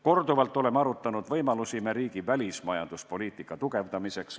Korduvalt oleme arutanud võimalusi meie riigi välismajanduspoliitika tugevdamiseks.